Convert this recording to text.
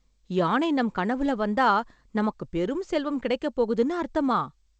யானை நம் கனவுல வந்தா, நமக்கு பெரும் செல்வம் கிடைக்கப் போகுதுன்னு அர்த்தமா...